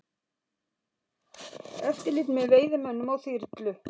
Eftirlit með veiðimönnum á þyrlu